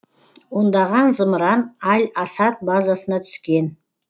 ондаған зымыран аль асад базасына түскен